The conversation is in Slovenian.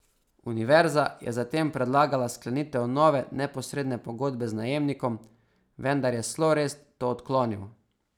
Univerza je zatem predlagala sklenitev nove neposredne pogodbe z najemnikom, vendar je Slorest to odklonil.